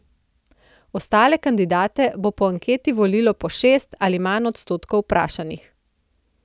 Ostale kandidate bo po anketi volilo po šest ali manj odstotkov vprašanih.